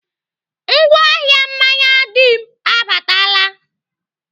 Ngwa ahịa mmanya Dim abaatala.